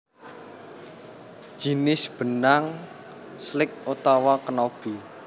Jinis benang slick utawa knobby